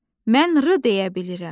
Mən r deyə bilirəm!